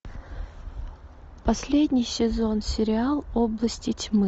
последний сезон сериал области тьмы